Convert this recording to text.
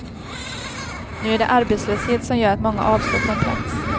Nu är det arbetslöshet som gör att många avstår från plats.